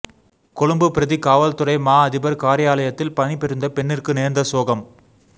கொழும்பு பிரதி காவல்துறைமா அதிபர் காரியாலயதில் பணி புரிந்த பெண்ணிற்கு நேர்ந்த சோகம்